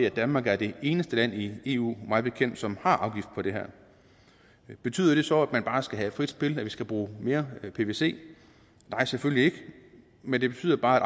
at danmark er det eneste land i eu mig bekendt som har afgifter på det her betyder det så at man bare skal have frit spil at vi skal bruge mere pvc nej selvfølgelig ikke men det betyder bare at